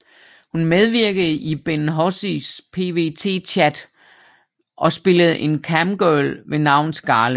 Hun medvirkede i Ben Hozies PVT Chat og spillede en camgirl ved navn Scarlet